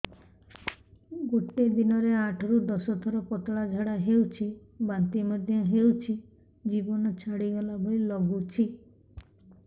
ଗୋଟେ ଦିନରେ ଆଠ ରୁ ଦଶ ଥର ପତଳା ଝାଡା ହେଉଛି ବାନ୍ତି ମଧ୍ୟ ହେଉଛି ଜୀବନ ଛାଡିଗଲା ଭଳି ଲଗୁଛି